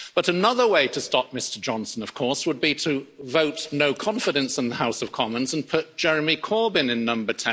But another way to stop Mr Johnson, of course, would be to vote No Confidence' in the House of Commons and put Jeremy Corbyn in Number